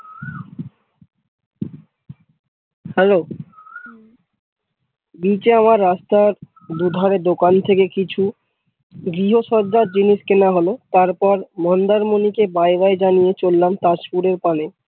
Hello নিচে আমার রাস্তার দুধারে দোকান থেকে কিছু গৃহ শয্যার জিনিস কেনা হোল তারপর মন্দার মনি কে bye bye জানিয়ে চললাম তাজপুরের পানে।